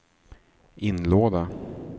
inlåda